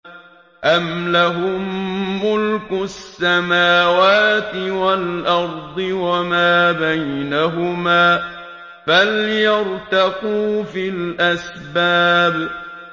أَمْ لَهُم مُّلْكُ السَّمَاوَاتِ وَالْأَرْضِ وَمَا بَيْنَهُمَا ۖ فَلْيَرْتَقُوا فِي الْأَسْبَابِ